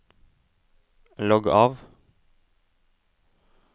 logg av